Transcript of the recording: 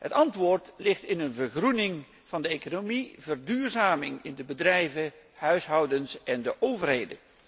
Het antwoord ligt in een vergroening van de economie en een verduurzaming in de bedrijven, de huishoudens en bij de overheid.